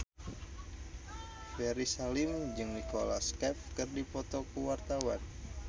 Ferry Salim jeung Nicholas Cafe keur dipoto ku wartawan